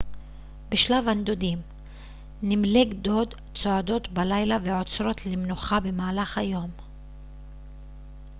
בשלב הנדודים נמלי גדוד צועדות בלילה ועוצרות למנוחה במהלך היום